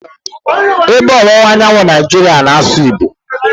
Ebe ọwụwa anyanwụ Naijiria na-asụ Igbo.